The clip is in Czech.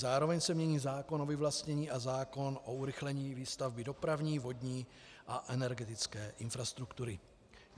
Zároveň se mění zákon o vyvlastnění a zákon o urychlení výstavby dopravní, vodní a energetické infrastruktury.